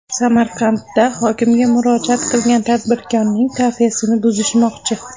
Samarqandda hokimga murojaat qilgan tadbirkorning kafesini buzishmoqchi.